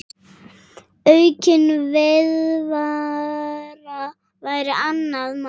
Aukin viðvera væri annað mál.